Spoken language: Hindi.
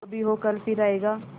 जो भी हो कल फिर आएगा